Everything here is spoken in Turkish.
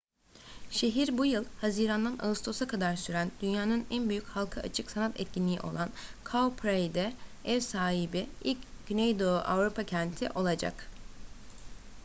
şehir bu yıl haziran'dan ağustos'a kadar süren dünyanın en büyük halka açık sanat etkinliği olan cowparade'e ev sahibi ilk güneydoğu avrupa kenti olacak